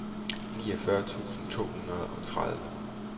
niogfyrre tusind to hundrede og tredive